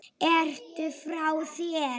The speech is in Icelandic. Ertu frá þér??